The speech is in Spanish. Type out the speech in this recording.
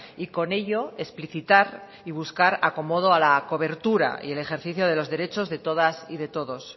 y con ello explicitar y buscar acomodo a la cobertura y el ejercicio de los derechos de todas y de todos